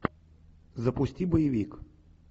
запусти боевик